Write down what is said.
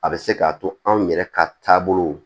A bɛ se k'a to anw yɛrɛ ka taabolow